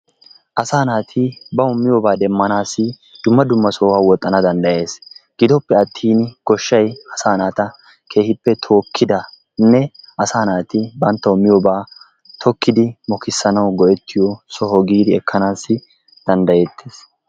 Asaa naati bawu miyobaa demmanaassi dumma dumma sohuwa woxxana danddayees. Gidoppe attin goshshaay asaa keehippe tookkidanne asaa naati banttawu miyobaa tokkidi mokissanawu go'ettiyo soho giidi ekkanaassi danddayettees.